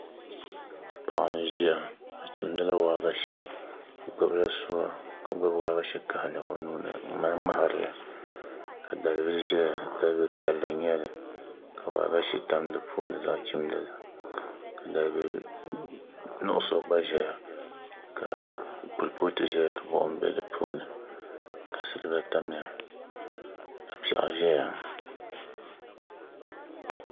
Paɣa n ʒiya o chimdila waagashe o gbubila suwa ka gbubi waagashe kahali o nuuni n mali ŋmaharili ka dalbili ʒɛya dalbili piɛlli n nyɛli ka waagashe tam di puuni ka nyɛ zaɣ chimdili ka dalbili nuɣso gba ʒɛya ka kurifooti ka buɣum bɛ di puuni ka silba tamya ka piɛɣu ʒɛya